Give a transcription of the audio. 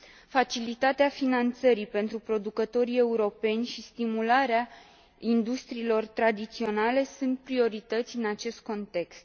Facilitatea finanțării pentru producătorii europeni și stimularea industriilor tradiționale sunt priorități în acest context.